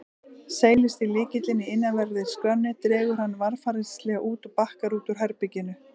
Seilist í lykilinn í innanverðri skránni, dregur hann varfærnislega út og bakkar út úr herberginu.